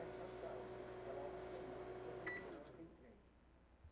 é fatal, se eu ficar lá uma semana, três vezes por semana, tem treino.